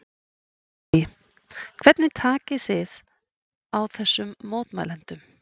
Lillý: Hvernig takið þið á þessum mótmælendum?